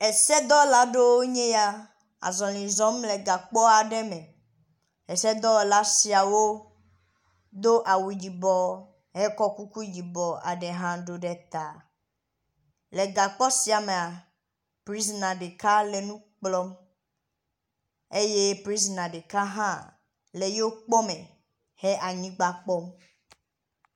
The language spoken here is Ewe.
Esedɔwɔla aɖewoe nye ya le azɔli zɔm le gakpɔ aɖe me. Esedɔwɔla siawo do awu yibɔ hekɔ kuku yibɔ aɖe hã ɖo ɖe ta. Le gakpɔ sia mea, prizina ɖeka le nu kplɔm eye prizina ɖeka hã le yewo kpɔ me he anyigba kpɔm.